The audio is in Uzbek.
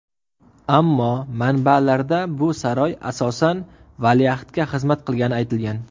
Ammo manbalarda bu saroy, asosan, valiahdga xizmat qilgani aytilgan.